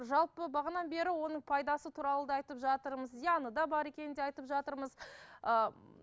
жалпы бағанадан бері оның пайдасы туралы да айтып жатырмыз зияны да бар екенін де айтып жатырмыз ыыы